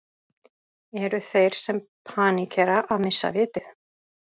Eru þeir sem paníkera að missa vitið?